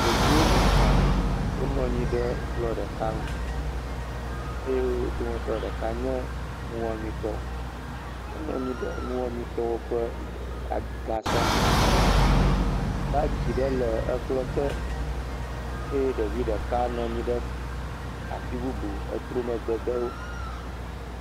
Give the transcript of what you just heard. Ɖevi woame etɔ̃, wonɔ anyi ɖe kplɔ ɖeka ŋu eye wo dometɔ ɖeka nye nuwɔmetɔ, enɔ anyi ɖe nuwɔmetɔwo ƒe gasɔ me. Bagi ɖe le ekplɔ te eye ɖevi ɖeka nɔ anyi ɖe afi bubu, etrɔ megbe de wo.